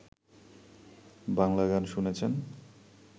বাংলা গান শুনছেন